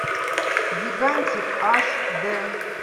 гигантик аш дэ